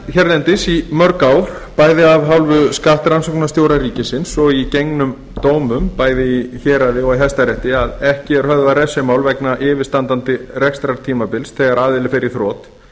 hérlendis í mörg ár bæði af hálfu skattrannsóknastjóra ríkisins og í gengnum dómum í héraði og í hæstarétti að ekki er höfðað refsimál vegna yfirstandandi rekstrartímabils þegar aðili fer í þrot